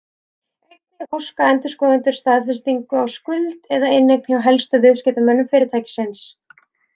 Einnig óska endurskoðendur staðfestinga á skuld eða inneign hjá helstu viðskiptamönnum fyrirtækisins.